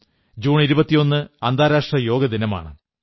21 June അന്താരാഷ്ട്ര യോഗ ദിനമാണ്